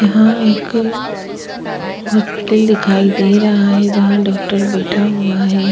यहाँ एक हॉस्पिटल दिखाई दे रहा है जहाँ डोक्टर बैठा हुआ है।